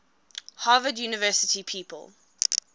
harvard university people